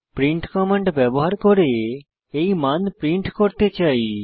print command ব্যবহার করে এই মান প্রিন্ট করতে চাই